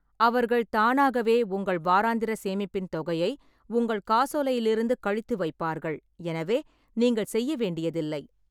அவர்கள் தானாகவே உங்கள் வாராந்திர சேமிப்பின் தொகையை உங்கள் காசோலையிலிருந்து கழித்து வைப்பார்கள், எனவே நீங்கள் செய்ய வேண்டியதில்லை.